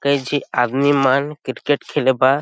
कई झी आदमी मन क्रिकेट खेले बा--